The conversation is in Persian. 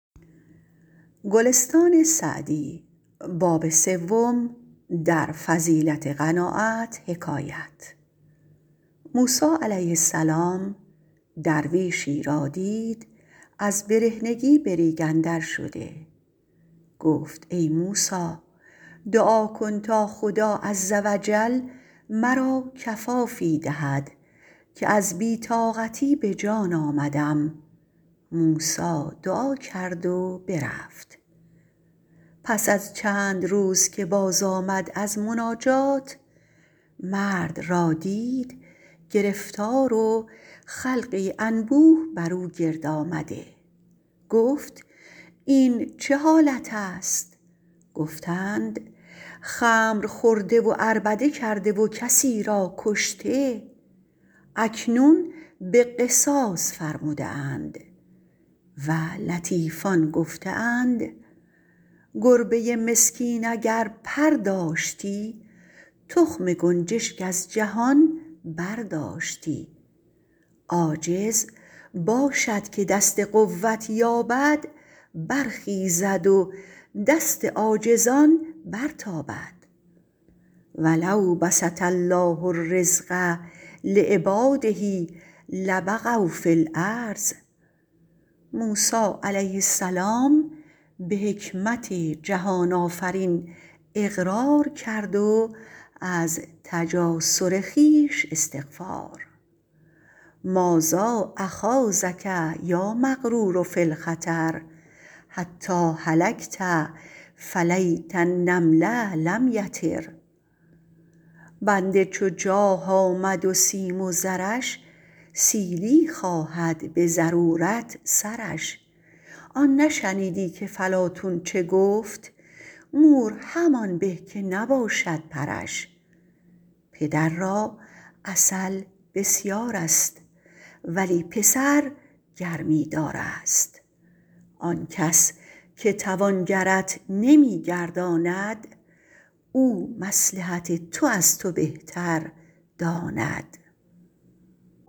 موسی علیه السلام درویشی را دید از برهنگی به ریگ اندر شده گفت ای موسی دعا کن تا خدا عزوجل مرا کفافی دهد که از بی طاقتی به جان آمدم موسی دعا کرد و برفت پس از چند روز که باز آمد از مناجات مرد را دید گرفتار و خلقی انبوه بر او گرد آمده گفت این چه حالت است گفتند خمر خورده و عربده کرده و کسی را کشته اکنون به قصاص فرموده اند و لطیفان گفته اند گربه مسکین اگر پر داشتی تخم گنجشک از جهان برداشتی عاجز باشد که دست قوت یابد برخیزد و دست عاجزان برتابد و لو بسط الله الرزق لعبٰاده لبغوا فی الارض موسی علیه السلام به حکمت جهان آفرین اقرار کرد و از تجاسر خویش استغفار مٰاذا اخاضک یا مغرور فی الخطر حتیٰ هلکت فلیت النمل لم یطر بنده چو جاه آمد و سیم و زرش سیلی خواهد به ضرورت سرش آن نشنیدی که فلاطون چه گفت مور همان به که نباشد پرش پدر را عسل بسیار است ولی پسر گرمی دار است آن کس که توانگرت نمی گرداند او مصلحت تو از تو بهتر داند